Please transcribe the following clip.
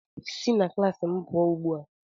Si na klaasị m pụọ ugbu a!